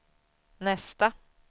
nästa